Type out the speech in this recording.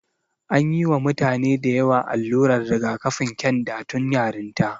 An yi wa mutane dayawa allurar rigakafin ƙyanda tun yarinta.